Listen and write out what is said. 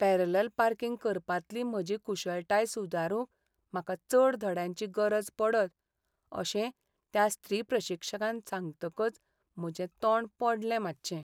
Parallel parking करपांतली म्हजी कुशळटाय सुदारूंक म्हाका चड धड्यांची गरज पडत अशें त्या स्त्री प्रशिक्षकान सांगतकच म्हजें तोंड पडलें मातशें.